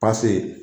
Pase